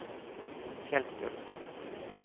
Fjellstølen